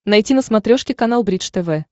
найти на смотрешке канал бридж тв